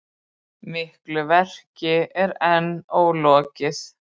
Miklu verki er enn ólokið